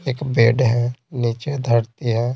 एक बेड है नीचे धरती है।